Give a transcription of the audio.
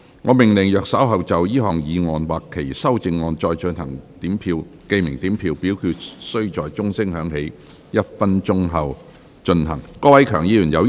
我命令若稍後就這項議案或其修正案進行點名表決，表決須在鐘聲響起1分鐘後進行。